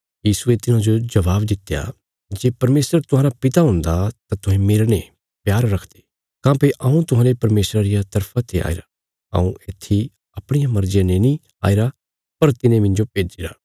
यीशुये तिन्हाजो जबाब दित्या जे परमेशर तुहांरा पिता हुन्दा तां तुहें मेरने प्यार रखदे काँह्भई हऊँ तुहांले परमेशरा रिया तरफा ते आईरा हऊँ येत्थी अपणिया मर्जिया ने नीं आईरा पर तिने मिन्जो भेज्जिरा